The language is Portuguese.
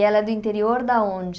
E ela é do interior de onde?